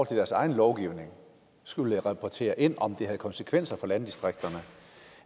til deres egen lovgivning skulle rapportere ind om det havde konsekvenser for landdistrikterne